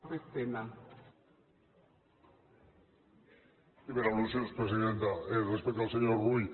sí per al·lusions presidenta respecte al senyor rull